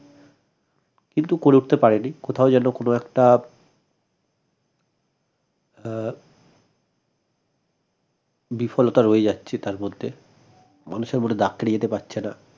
কিন্তু করে উঠতে পারে নি কোথাও যেন কোনো একটা আহ বিফলতা রয়ে যাচ্ছে তার মধ্যে মানুষের মনে দাগ কেটে যেতে পারছেনা